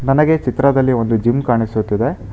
ನನಗೆ ಚಿತ್ರದಲ್ಲಿ ಒಂದು ಜಿಮ್ ಕಾಣಿಸುತ್ತಿದೆ.